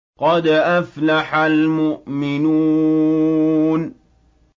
قَدْ أَفْلَحَ الْمُؤْمِنُونَ